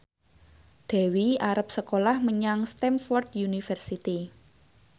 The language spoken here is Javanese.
Dewi arep sekolah menyang Stamford University